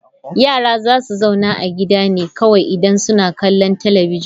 Yara za su zauna a gida ne kawai idan suna kallon talabijin.